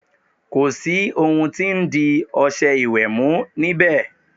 Kò sì ohun tí ń di ọṣẹ ìwẹ̀ mú níbẹ̀.